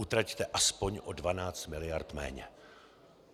Utraťte aspoň o 12 miliard méně!